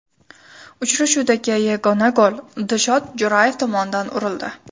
Uchrashuvdagi yagona gol Dilshod Jo‘rayev tomonidan urildi.